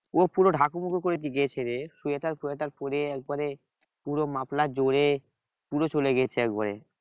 ও পুরো ঢাকু মাকু করে গেছে রে শুয়ে থাক শুয়ে থাক করে একেবারে পুরো muffler জড়িয়ে পুরো চলে গেছে একেবারে